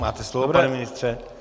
Máte slovo, pane ministře.